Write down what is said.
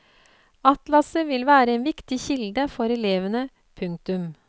Atlaset vil være en viktig kilde for elevene. punktum